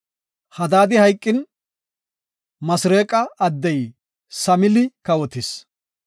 Hadaadi hayqin, Masreeqa addey Samili kawotis.